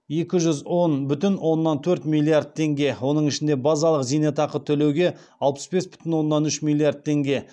екі жүз он бүтін оннан төрт миллиард теңге оның ішінде базалық зейнетақы төлеуге алпыс бес бүтін оннан үш миллиард теңге